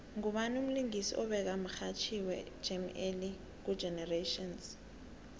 ngubawi umlingisi obeka mxhatjhiwe jam alley ku generations